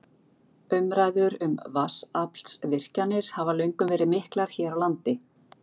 Umræður um vatnsaflsvirkjanir hafa löngum verið miklar hér á landi.